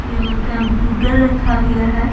Computer रखा गया है।